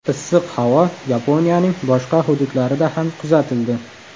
Issiq havo Yaponiyaning boshqa hududlarida ham kuzatildi.